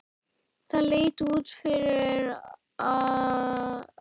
Það leit út fyrir það.